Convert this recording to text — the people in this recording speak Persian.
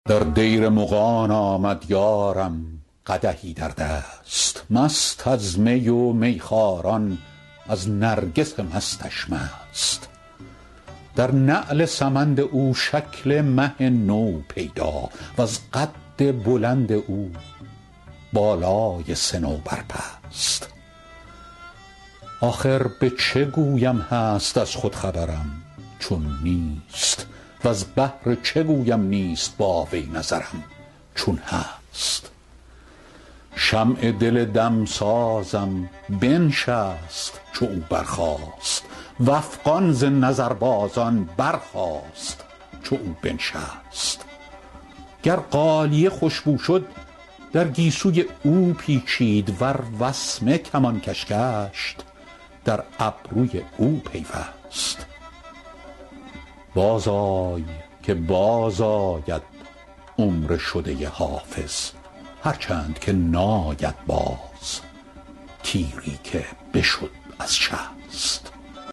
در دیر مغان آمد یارم قدحی در دست مست از می و میخواران از نرگس مستش مست در نعل سمند او شکل مه نو پیدا وز قد بلند او بالای صنوبر پست آخر به چه گویم هست از خود خبرم چون نیست وز بهر چه گویم نیست با وی نظرم چون هست شمع دل دمسازم بنشست چو او برخاست و افغان ز نظربازان برخاست چو او بنشست گر غالیه خوش بو شد در گیسوی او پیچید ور وسمه کمانکش گشت در ابروی او پیوست بازآی که بازآید عمر شده حافظ هرچند که ناید باز تیری که بشد از شست